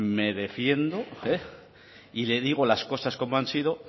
me defiendo y le digo las cosas como han sido